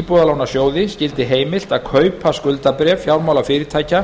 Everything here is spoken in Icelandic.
íbúðalánasjóði skyldi heimilt að kaupa skuldabréf fjármálafyrirtækja